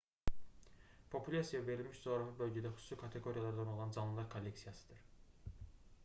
populyasiya verilmiş coğrafi bölgədə xüsusi kateqoriyalardan olan canlılar kolleksiyasıdır